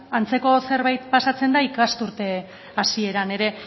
antzeko zerbait pasatzen da ikasturte hasieran ere